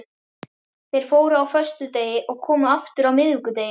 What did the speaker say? Þeir fóru á föstudegi og komu aftur á miðvikudegi.